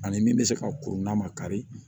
Ani min bɛ se ka kuru n'a ma kari